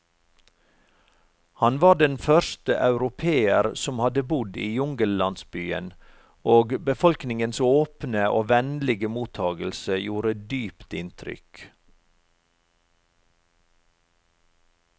Han var den første europeer som hadde bodd i jungellandsbyen, og befolkningens åpne og vennlige mottagelse gjorde dypt inntrykk.